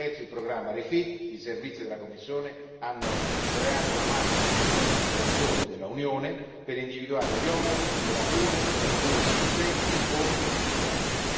Attraverso il programma REFIT, i servizi della Commissione hanno creato una mappa di tutta la legislazione dell'Unione per individuare gli oneri, le lacune e le misure inefficienti o inefficaci.